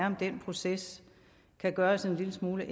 om den proces kan gøres en lille smule